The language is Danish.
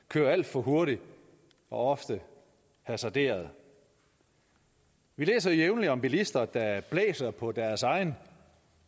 kører alt for hurtigt og ofte hasarderet vi læser jævnligt om bilister der blæser på deres egen